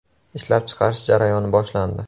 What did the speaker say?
Ishlab chiqarish jarayoni boshlandi.